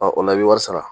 o la i bɛ wari sara